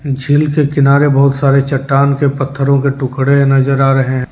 झील के किनारे बहुत सारे चट्टान के पत्थरों के टुकड़े नजर आ रहे हैं।